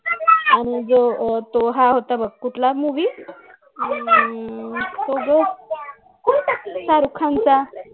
आणि जो तो हा होतं बघ कुटला movie हम्म तो गं तारखांचा